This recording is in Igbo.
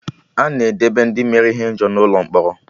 Ana edebe Ndị mere ihe ọjọọ n'Ụlọ mkpọrọ